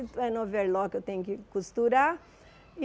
É no overlock, eu tenho que costurar e.